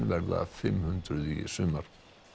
verða fimm hundruð í sumar